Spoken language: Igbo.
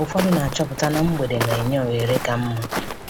Ụfọdụ na-achọpụta na mgbede na-enye ohere ka mma.